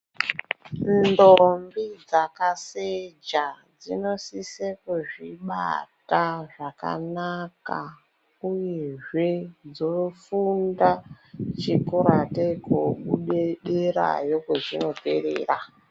Ndombi dzakaseja dzinosise kuzvibata zvakanaka uyezve dzofunda chikora atei kobude derayo kwezvinoperera.